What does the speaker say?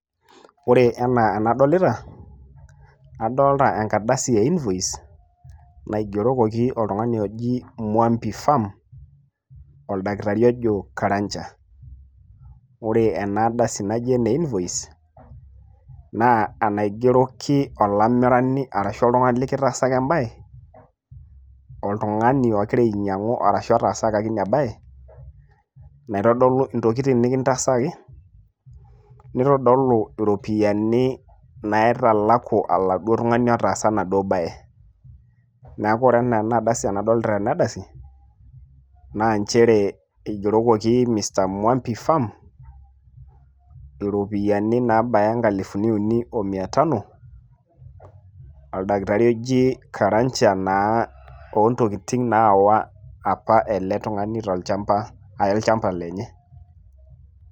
Ore enaa enadolita, adolta enkardasi e invoice naigerokoki oltungani oji Mwambi fam oldakitari ojo Karanja ,ore ena ardasi naji ene invoice naa enaigeroki olamirani arashu oltungani likitaasaa embae ,oltungani ogira ainyang`u arashu otaasakaki ina bae ,naitodolu intokitin nikitaasakaki ,nitodolu iropiyiani naitalaku oladuoo tungani otaasaa enaduo bae .niaku ore ena enardasi enadolita tena ardasi naa nchere igerokoki mr Mwambi fam iropiyiani naabaya nkalifuni ip omia tano oldakitari oji Karanja naa oontokitin naawa apa ele tungani tolchamba aya olchamba lenye.